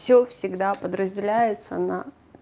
всё всегда подразделяется на